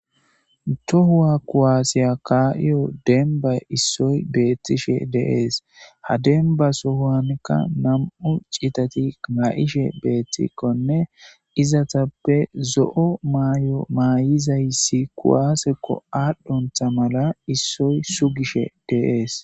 Tohuwa kuwasiya ka'iyo dembay issoy betishe de'es. Ha demba sohuwanka 2 citat betikonne izetappe zo'o mayo mayizays kuwaseko adhonta mala issoy sugishe de'es.